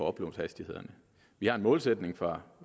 uploadhastighederne vi har en målsætning for